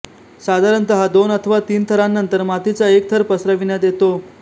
साधारणतः दोन अथवा तीन थरांनंतर मातीचा एक थर पसरविण्यात येतो